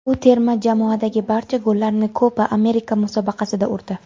U terma jamoadagi barcha gollarini Kopa Amerika musobaqasida urdi.